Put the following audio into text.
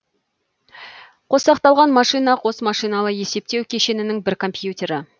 қосақталған машина қос машиналы есептеу кешенінің бір компьютері